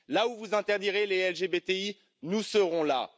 Là où vous interdirez les LGBTI, nous serons là.